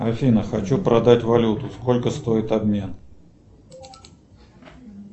афина хочу продать валюту сколько стоит обмен